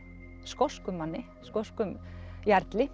skoskum manni skoskum